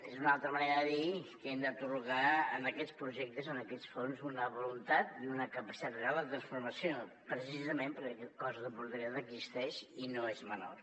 és una altra manera de dir que hem d’atorgar a aquests projectes a aquests fons una voluntat i una capacitat real de transformació precisament perquè aquest cost d’oportunitat existeix i no és menor